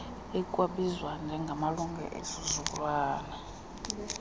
ekwabizwa njengamalungelo esizukulwana